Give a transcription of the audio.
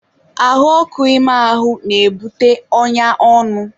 ahụ ọkụ ime ahụ na-ebute ọnya ọnụ.